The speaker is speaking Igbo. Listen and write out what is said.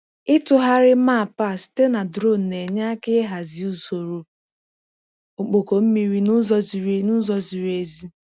Ịtụgharị mapa site na drone na-enye aka ịhazi usoro ọkpọkọ mmiri n'ụzọ ziri n'ụzọ ziri ezi.